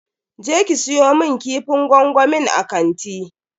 Je ki siyo mun kifin gwangwamin a kanti.